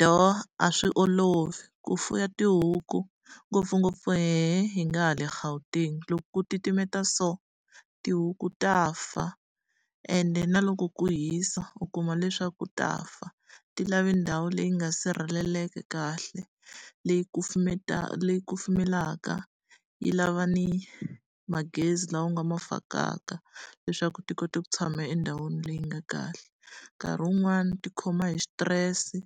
Do a swi olovi ku fuwa tihuku ngopfungopfu hehe hi nga hale Gauteng. Loko ku titimela so, tihuku ta fa. Ende na loko ku hisa, u kuma leswaku ku ta fa. Ti lava ndhawu leyi nga sirheleleka kahle, leyi leyi kufumelaka, yi lava ni magezi lawa u nga ma fakaka leswaku ti kota ku tshama endhawini leyi nga kahle. Nkarhi wun'wani ti khoma hi xitirese,